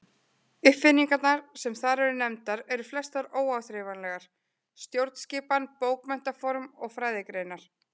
Uppfinningarnar sem þar eru nefndar eru flestar óáþreifanlegar: stjórnskipan, bókmenntaform og fræðigreinar.